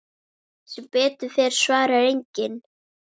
Sem betur fer svarar enginn.